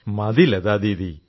മതി ലതാദീദി